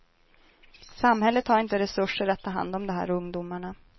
Samhället har inte resurser att ta hand om de här ungdomarna.